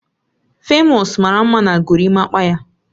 Famous mara mma na Gorimapaa ya